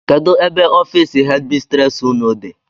Kedụ ebe ọffici headi mistresi ụnụ dị?